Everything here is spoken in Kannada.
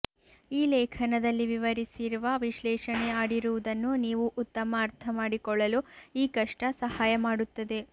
ಈ ಲೇಖನದಲ್ಲಿ ವಿವರಿಸಿರುವ ವಿಶ್ಲೇಷಣೆ ಆಡಿರುವುದನ್ನು ನೀವು ಉತ್ತಮ ಅರ್ಥಮಾಡಿಕೊಳ್ಳಲು ಈ ಕಷ್ಟ ಸಹಾಯ ಮಾಡುತ್ತದೆ